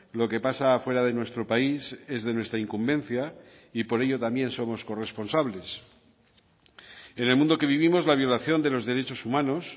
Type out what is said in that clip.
lo que pasa fuera de nuestro país es de nuestra incumbencia y por ello también somos corresponsables en el mundo que vivimos la violación de los derechos humanos